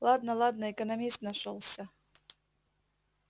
ладно ладно экономист нашёлся